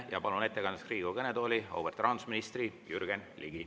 Ma palun ettekandeks Riigikogu kõnetooli auväärt rahandusministri Jürgen Ligi.